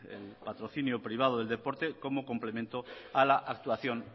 el patrocinio privado del deporte como complemento a la actuación